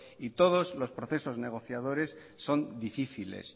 y todos los procesos negociadores son difíciles